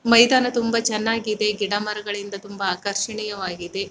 ಮೈದಾನ ತುಂಬಾ ಚೆನ್ನಾಗಿದೆ ಗಿಡಮರಗಳಿಂದ ತುಂಬಾ ಆಕರ್ಷಣೀಯವಾಗಿದೆ.